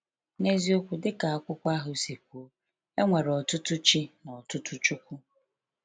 N’eziokwu, dịka akwụkwọ ahụ si kwuo, “e nwere ọtụtụ ‘chi’ na ọtụtụ ‘chukwu’.”